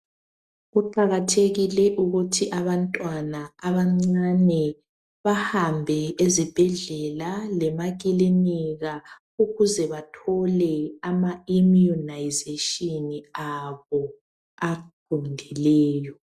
Kuqakathekile ukuthi abantwana abancane bahambe ezibhedlela lemakilinika ukuze bathole ama immunisation abo aqondileyo.